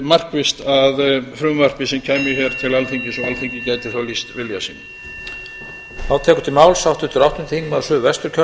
markvisst að frumvarpi sem kæmi hingað til alþingis og alþingi gæti þá lýst vilja sínum